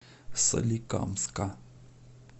соликамска